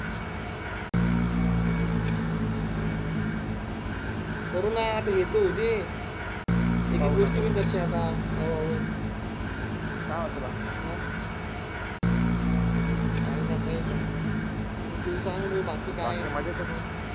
करू ना आता हे तर होउदे एकेक गोष्टी होईल दरश्या आता हळूहळू काय म्हणतो बाकी काही नाही तू सांग बाकी बाकी काही नाही मजेत आहे